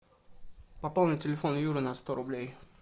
пополни телефон юры на сто рублей